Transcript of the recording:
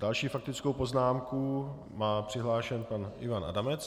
Další faktickou poznámku má přihlášen pan Ivan Adamec.